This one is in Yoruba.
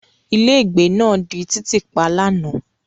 Ilégbèé náà di títì pa lánàá.